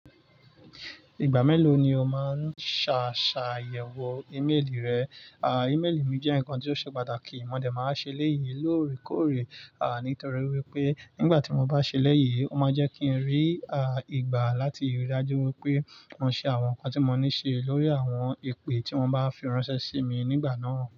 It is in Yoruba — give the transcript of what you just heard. Ìgbà mélò ni o máa ń ṣàyẹ̀wò ìméèlì rẹ? Ìméli mi jẹ́ nǹkan tí ó ṣe pàtàkì, mo dẹ̀ máa ṣe eléyi lóòrèkóòrè, nítorí wípé nígbà tí mo bá ṣe éléyì, ó máa jẹ́ kí n rí, ìgbà láti rí i dájú wípé mo ṣe àwọn nǹkan tí mo ní ṣe lórí àwọn ìpè tí wọ́n bá fi ránṣẹ́ sí mi nígbà náà.